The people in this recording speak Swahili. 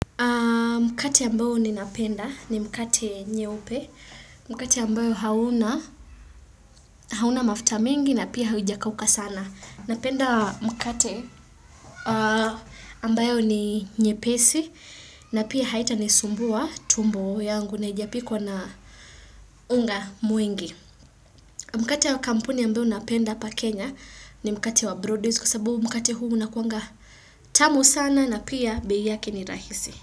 Mkate ambayo ni napenda ni mkate nyeupe, mkate ambayo hauna hauna mafuta mengi na pia haujakauka sana. Napenda mkate ambayo ni nyepesi na pia haita nisumbua tumbo yangu na haijapikwa na unga mwingi. Mkate wa kampuni ambayo napenda hapa Kenya ni mkate wa Broadways kwa sababu mkate huu unakuanga tamu sana na pia bei yake ni rahisi.